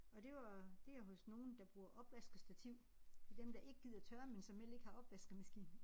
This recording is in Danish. Og det var det er hos nogen der bruger opvaskestativ. Det dem der ikke gider tørre men som heller ikke har opvaskemaskine